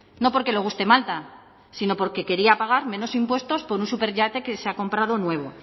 no porque le guste malta sino porque quería pagar menos impuestos por un superyate que se ha comprado nuevo